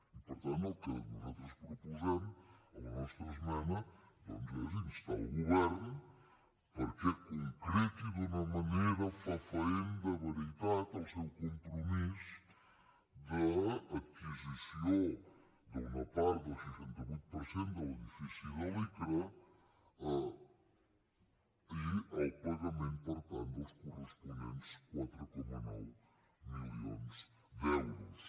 i per tant el que nosaltres proposem a la nostra esmena doncs és instar el govern perquè concreti d’una manera fefaent de veritat el seu compromís d’adquisició d’una part del seixanta vuit per cent de l’edifici de l’icra i el pagament per tant dels corresponents quatre coma nou milions d’euros